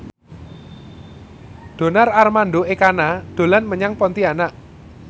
Donar Armando Ekana dolan menyang Pontianak